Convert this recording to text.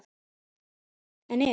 En ef?